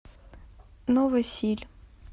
новосиль